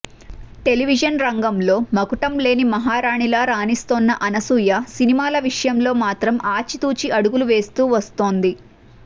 television రంగంలో మకుటంలేని మహారాణిలా రాణిస్తోన్న అనసూయ సినిమాల విషయంలో మాత్రం ఆచితూచి అడుగులు వేస్తూ వస్తోంది